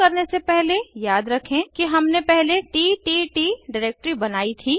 शुरू करने से पहले याद रखें कि हमने पहले तत् डिरेक्टरी बनायीं थी